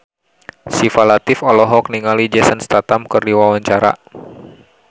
Syifa Latief olohok ningali Jason Statham keur diwawancara